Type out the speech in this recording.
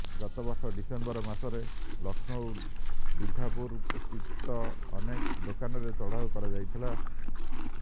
ଗତ ବର୍ଷ ଡିସେମ୍ବର ମାସରେ ଲକ୍ଷ୍ନୌ ବିଘାପୁର ସ୍ଥିତ ଅନେକ ଦୋକାନରେ ଚଢାଉ କରାଯାଇଥିଲା